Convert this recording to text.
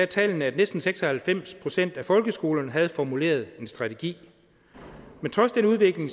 tallene at næsten seks og halvfems procent af folkeskolerne havde formuleret en strategi men trods den udvikling